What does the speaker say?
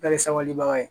Bɛɛ ye sabalibaga ye